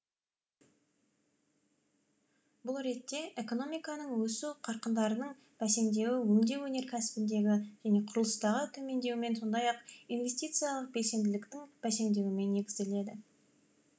бұл ретте экономиканың өсу қарқындарының бәсеңдеуі өңдеу өнеркәсібіндегі және құрылыстағы төмендеумен сондай ақ инвестициялық белсенділіктің бәсеңдеуімен негізделеді